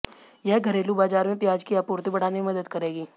यह घरेलू बाजार में प्याज की आपूर्ति बढ़ाने में मदद करेगी